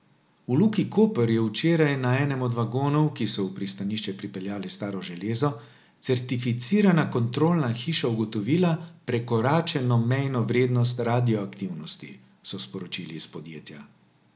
V Luki Koper je včeraj na enem od vagonov, ki so v pristanišče pripeljali staro železo, certificirana kontrolna hiša ugotovila prekoračeno mejno vrednost radioaktivnosti, so sporočili iz podjetja.